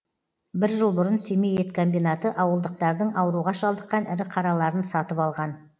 бір жыл бұрын семей ет комбинаты ауылдықтардың ауруға шалдыққан ірі қараларын сатып алған